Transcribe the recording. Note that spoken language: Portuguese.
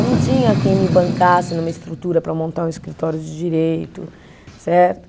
Eu não tinha quem me bancasse numa estrutura para montar um escritório de direito, certo?